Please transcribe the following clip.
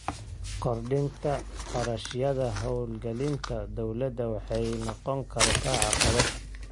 Kordhinta kharashyada hawlgelinta dawladda waxay noqon kartaa caqabad.